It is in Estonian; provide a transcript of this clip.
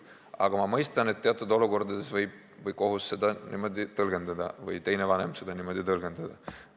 Aga ma mõistan, et teatud olukordades võib kohus seda niimoodi tõlgendada või teine vanem seda niimoodi tõlgendada.